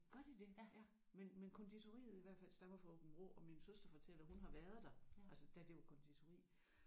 Gør de det ja men men konditoriet i hvert fald stammer fra Aabenraa og min søster fortæller hun har været der altså da det var konditori